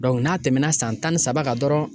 n'a tɛmɛna san tan ni saba kan dɔrɔn.